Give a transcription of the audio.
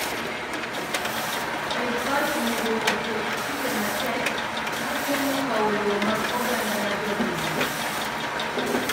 Sirkal onego oket chike matek ma geng’o kawo lowo mag oganda ma jopinyno.